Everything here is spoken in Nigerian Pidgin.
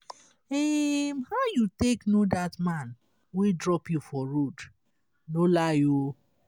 um how you take no dat an wey drop you for road? no lie oo